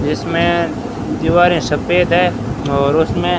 इसमें दीवारें सफेद हैं और उसमें--